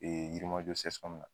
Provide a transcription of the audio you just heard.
Yirimajɔ CSCOM na